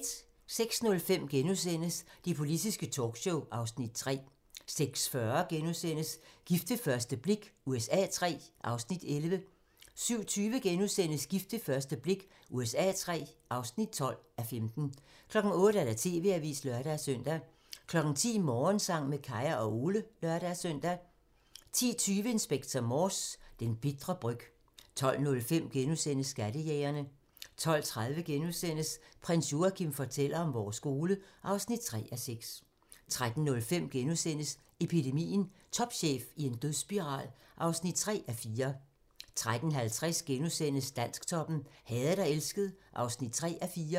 06:05: Det politiske talkshow (Afs. 3)* 06:40: Gift ved første blik USA III (11:15)* 07:20: Gift ved første blik USA III (12:15)* 08:00: TV-avisen (lør-søn) 10:00: Morgensang med Kaya og Ole (lør-søn) 10:20: Inspector Morse: Den bitre bryg 12:05: Skattejægerne * 12:30: Prins Joachim fortæller om vores skole (3:6)* 13:05: Epidemien - Topchef i en dødsspiral (3:4)* 13:50: Dansktoppen: Hadet og elsket (3:4)*